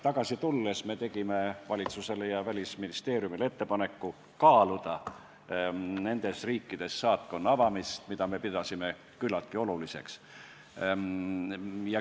Tagasi tulles tegime valitsusele ja Välisministeeriumile ettepaneku kaaluda nendes riikides saatkonna avamist, me pidasime seda küllaltki oluliseks.